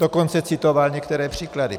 Dokonce citoval některé příklady.